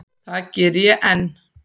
Það geri ég enn.